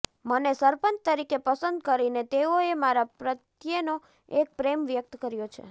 મને સરપંચ તરીકે પસંદ કરીને તેઓએ મારા પ્રત્યેનો એક પ્રેમ વ્યક્ત કર્યો છે